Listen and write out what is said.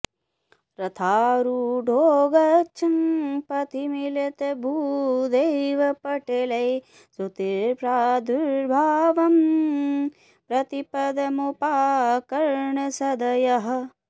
रथारूढो गच्छन् पथि मिलितभूदेवपटलैः स्तुतिप्रादुर्भावं प्रतिपद मुपाकर्ण्य सदयः